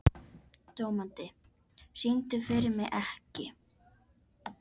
Dómaldi, syngdu fyrir mig „Ekki“.